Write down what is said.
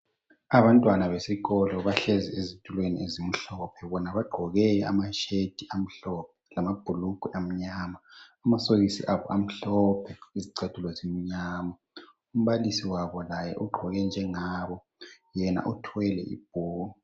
Abantwana besikolo bahleli ezitulweni ezimhlophe bona baqgoke ama sheti amhlophe lamabhulugwe anyama amasokisi abo amhlophe izicathulo zimnyama umbalisi wabo laye uqgoke njengabo yena uthwele ibhuku